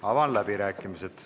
Avan läbirääkimised.